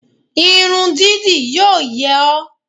Irun dídì yíò yẹ ọ́